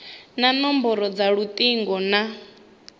na nomboro dza lutingo na